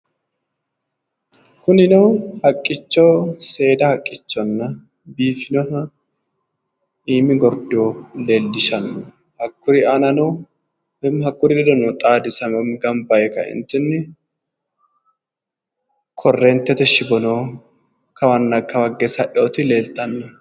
kunino haqqicho seeda haqqichonna biifinoha iimi gordo leellishshanno hakkuri aanano woyihakkuri ledono xaadisanni ganba yee kaeentinni korreeentete shiwono kawanna kawa higge sa'inoti leellishanno.